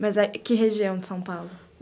Mas que região de São Paulo?